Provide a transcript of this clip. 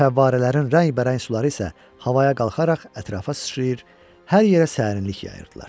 Fəvvarələrin rəngbərəng suları isə havaya qalxaraq ətrafa sıçrayır, hər yerə sərinlik yayırdılar.